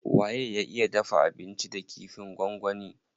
Waye ya iya dafa abinci da kifin gwangwani.